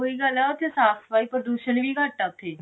ਸਹੀ ਗੱਲ ਹੈ ਉੱਥੇ ਸਾਫ਼ ਸਫਾਈ ਪ੍ਰਦੂਸ਼ਨ ਵੀ ਘੱਟ ਹੈ ਉੱਥੇ